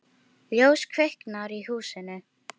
Ljós kviknar í húsinu.